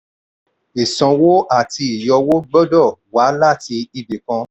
ìsanwó àti ìyọ owó gbọ́dọ̀ wá láti ibi kan.